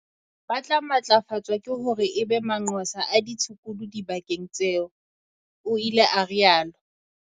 "Ba tla matlafatswa hore e be manqosa a ditshukudu dibakeng tseo," o ile a rialo.